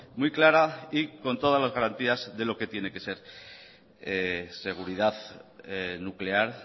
muy clara y con todas las garantías de lo que tiene que ser seguridad nuclear